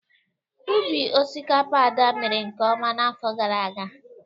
Ubi osikapa Ada mere nke ọma n'afọ gara aga.